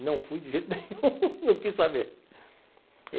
Não fui de jeito nenhum, não quis saber.